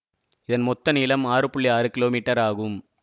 இதன் மொத்த நீளம் ஆறுஆறு கீழோ மீட்டர் ஆகும்